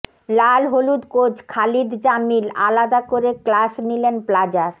লালহলুদ coach Khalid Jamil আলাদা করে class নিলেন প্লাজার